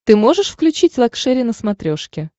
ты можешь включить лакшери на смотрешке